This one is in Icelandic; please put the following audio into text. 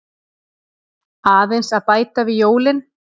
Aðeins að bæta við jólin.